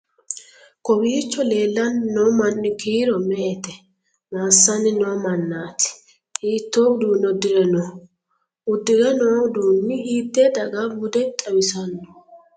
Kowiicho leellanni no manni kiiro me"ete? Massanni noo mannaati? Hiitto uduunne uddire nooho? Uddi're no uduunni hiitte daga bude xawissannoho?